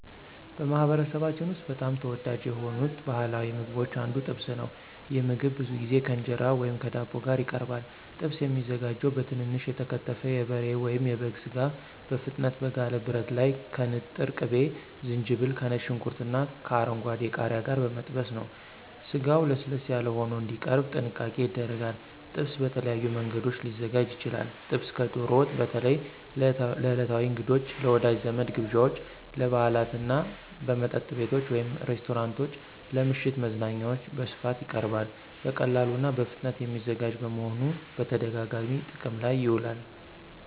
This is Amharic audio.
በማኅበረሰባችን ውስጥ በጣም ተወዳጅ ከሆኑት ባሕላዊ ምግቦች አንዱ ጥብስ ነው። ይህ ምግብ ብዙ ጊዜ ከእንጀራ ወይም ከዳቦ ጋር ይቀርባል። ጥብስ የሚዘጋጀው በትንንሽ የተከተፈ የበሬ ወይም የበግ ሥጋ በፍጥነት በጋለ ብረት ላይ ከንጥር ቅቤ፣ ዝንጅብል፣ ከነጭ ሽንኩርትና ከአረንጓዴ ቃሪያ ጋር በመጠበስ ነው። ስጋው ለስለስ ያለ ሆኖ እንዲቀርብ ጥንቃቄ ይደረጋል። ጥብስ በተለያዩ መንገዶች ሊዘጋጅ ይችላል። ጥብስ ከዶሮ ወጥ በተለይ ለዕለታዊ እንግዶች፣ ለወዳጅ ዘመድ ግብዣዎች፣ ለበዓላት እና በመጠጥ ቤቶች (ሬስቶራንቶች) ለምሽት መዝናኛዎች በስፋት ይቀርባል። በቀላሉና በፍጥነት የሚዘጋጅ በመሆኑ በተደጋጋሚ ጥቅም ላይ ይውላል።